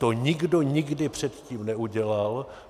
To nikdo nikdy předtím neudělal.